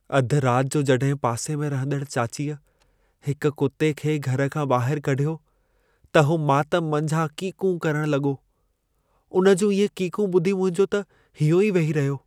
अध रात जो जॾहिं पासे में रहंदड़ चाचीअ हिक कुते खे घर खां ॿाहिर कढियो, त हू मातम मंझां कीकूं करण लॻो। उन जूं इहे कीकूं ॿुधी मुंहिंजो त हीयों ई वेही रहियो।